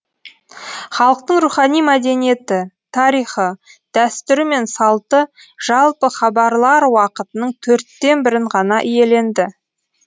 халықтың рухани мәдениеті тарихы дәстүрі мен салты жалпы хабарлар уақытының төрттен бірін ғана иеленді